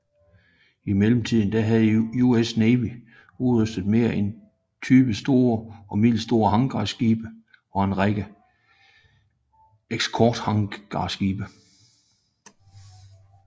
I mellemtiden havde US Navy udrustet mere end 20 store og middelstore hangarskibe og en række eskortehangarskibe